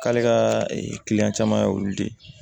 K'ale ka kiliyan caman y'olu de ye